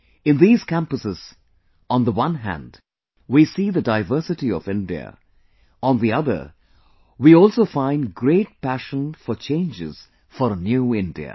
In these campuses on the one hand we see the diversity of India; on the other we also find great passion for changes for a New India